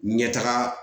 Ɲɛtaga